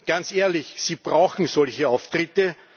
Ganz ehrlich Sie brauchen solche Auftritte.